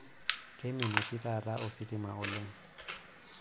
Keimin oshi taata ositima oleng.